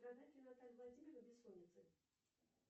страдает ли наталья владимировна бессонницей